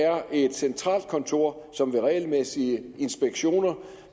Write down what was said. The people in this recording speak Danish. er et centralt kontor som ved regelmæssige inspektioner